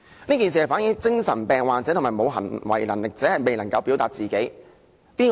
這件事反映了精神病患者和沒有行為能力者，未能夠表達自己。